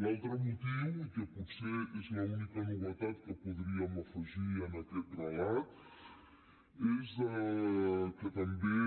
l’altre motiu i potser és l’única novetat que podríem afegir en aquest relat és que també